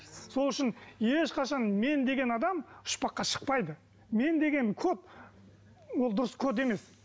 сол үшін ешқашан мен деген адам ұшпаққа шықпайды мен деген код ол дұрыс код емес